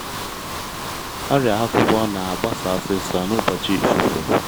ọrịa akwụkwọ na-agbasa osisor n’ụbọchị ifufe